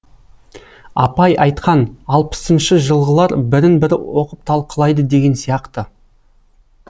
апай айтқан алпысыншы жылғылар бірін бірі оқып талқылайды деген сияқты